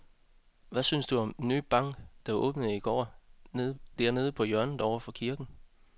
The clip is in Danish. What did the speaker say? Hvad synes du om den nye bank, der åbnede i går dernede på hjørnet over for kirken?